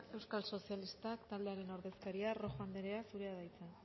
euskal sozialistak taldearen ordezkaria rojo anderea zurea da hitza